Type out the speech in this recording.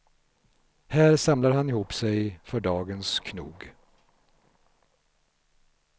Här samlar han ihop sig för dagens knog.